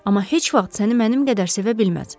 Amma heç vaxt səni mənim qədər sevə bilməz.